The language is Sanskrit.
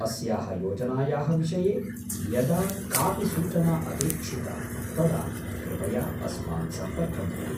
अस्याः योजनायाः विषये यदा कापि सूचना अपेक्षिता तदा कृपया अस्मान् सम्पर्कं कुरु।